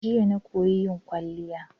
Jiya na koyi yin kwaliya.